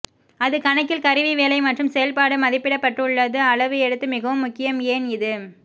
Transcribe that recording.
அது கணக்கில் கருவி வேலை மற்றும் செயல்பாடு மதிப்பிடப்பட்டுள்ளது அளவு எடுத்து மிகவும் முக்கியம் ஏன் இது